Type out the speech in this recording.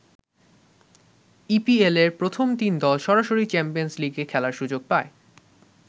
ইপিএলের প্রথম তিন দল সরাসরি চ্যাম্পিয়ন্স লিগে খেলার সুযোগ পায়।